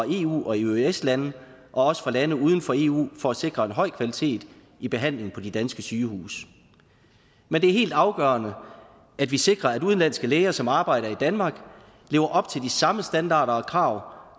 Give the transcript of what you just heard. eu og eøs lande og fra lande uden for eu for at sikre en høj kvalitet i behandlingen på de danske sygehuse men det er helt afgørende at vi sikrer at udenlandske læger som arbejder i danmark lever op til de samme standarder og krav